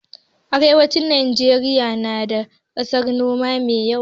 Arewacin Najeriya na da ƙasan noma mai yalwa.